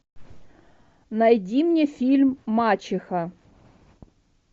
найди мне фильм мачеха